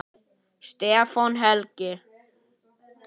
Stefán Helgi.